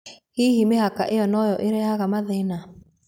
Hihi mĩhaka ĩyo noyo ĩrehaga mathĩna?